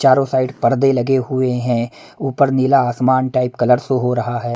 चारों साइड पर्दे लगे हुए हैं ऊपर नीला आसमान टाइप कलर शो हो रहा है।